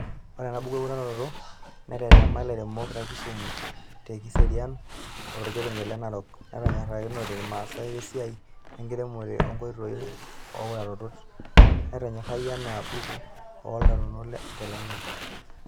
Ore enabuku eutaroto netetema lairemok te kisumu, te kiserian oo torkerenket le Narok, netonyorakinote masaa esiai wenenkiremore oo nkoitoi ooutarot. Netonyorayioki ena buku ooutarot telalai.